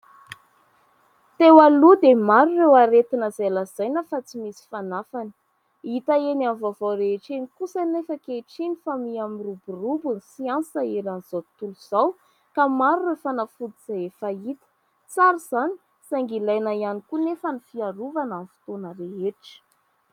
Teo aloha dia maro ireo aretina izay lazaina fa tsy misy fanafany. Hita eny amin'ny vaovao rehetra eny kosa nefa ankehitriny fa mia miroborobo ny siansa eran'izao tontolo izao, ka maro ireo fanafody izay efa hita. Tsara izany, saingy ilaina ihany koa anefa ny fiarovana amin'ny fotoana rehetra.